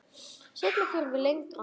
Seinna förum við lengra.